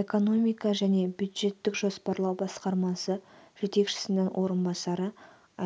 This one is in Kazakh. экономика және бюджеттік жоспарлау басқармасы жетекшісінің орынбасары